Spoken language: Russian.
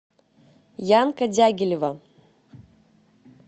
янка дягилева